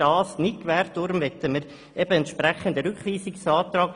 Deshalb stellen wir den entsprechenden Rückweisungsantrag.